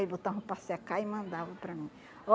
Aí botavam para secar e mandavam para mim.